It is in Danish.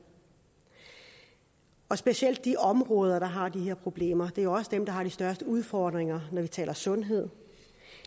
og specielt de områder der har de her problemer er også dem der har de største udfordringer når vi taler sundhed